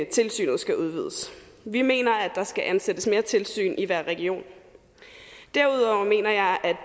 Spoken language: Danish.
tilsynet skal udvides vi mener at der skal ansættes mere tilsyn i hver region derudover mener jeg at